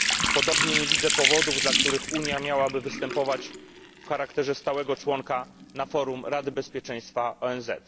Podobnie nie widzę powodów, dla których Unia miałaby występować w charakterze stałego członka na forum Rady Bezpieczeństwa ONZ.